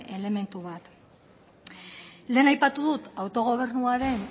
elementu bat lehen aipatu dut autogobernuaren